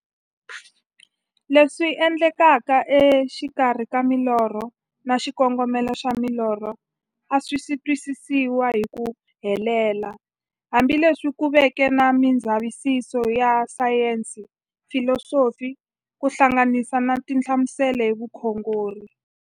Leswi endlekaka e xikarhi ka milorho na xikongomelo xa milorho a swisi twisisiwa hi ku helela, hambi leswi ku veke na mindzavisiso ya sayensi, filosofi ku hlanganisa na tinhlamuselo hi vukhongori.